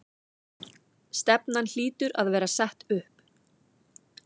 Stefnan hlýtur að vera sett upp?